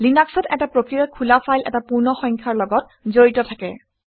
লিনাক্সত এটা প্ৰক্ৰিয়াৰ খোলা ফাইল এটা পূৰ্ণ সংখ্যাৰ লগত জড়িত থাকে